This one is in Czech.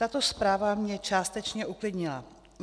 Tato zpráva mě částečně uklidnila.